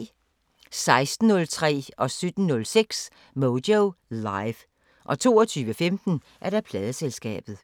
16:06: Moyo Live 17:06: Moyo Live 22:15: Pladeselskabet